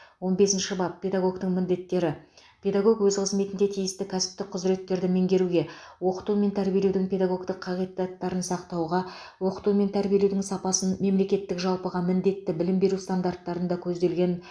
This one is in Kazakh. он бесінші бап педагогтің міндеттері педагог өз қызметінде тиісті кәсіптік құзыреттерді меңгеруге оқыту мен тәрбиелеудің педагогтік қағидаттарын сақтауға оқыту мен тәрбиелеудің сапасын мемлекеттік жалпыға міндетті білім беру стандарттарында көзделген